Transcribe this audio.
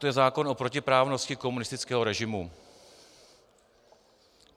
To je zákon o protiprávnosti komunistického režimu.